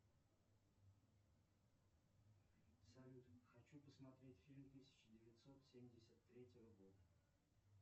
салют хочу посмотреть фильм тысяча девятьсот семьдесят третьего года